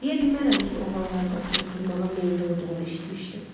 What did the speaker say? Deyə bilmərəm ki oğlanlarla oturub durmağa meyilli olduğunu eşitmişdim.